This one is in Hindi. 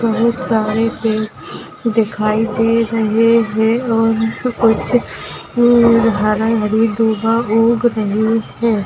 बहुत सारे पेड़ दिखाई दे रहे है और भी कुछ दूर हरी हरी उग रही है।